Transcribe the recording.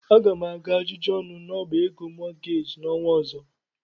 Aga m aga ajụjụ ọnụ n'ọbá ego mọọgeeji n'ọnwa ọzọ.